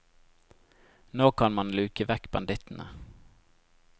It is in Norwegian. Nå kan man luke vekk bandittene.